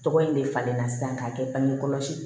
Tɔgɔ in de falen na sisan k'a kɛ bange kɔlɔsi